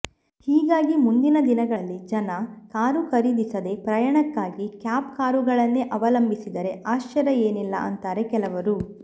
ಹೀಗಾಗಿ ಮುಂದಿನ ದಿನಗಳಲ್ಲಿ ಜನ ಕಾರು ಖರೀದಿಸದೇ ಪ್ರಯಾಣಕ್ಕಾಗಿ ಕ್ಯಾಬ್ ಕಾರುಗಳನ್ನೇ ಅವಲಂಬಿಸಿದರೆ ಆಶ್ಚರ್ಯ ಏನಿಲ್ಲ ಅಂತಾರೆ ಕೆಲವರು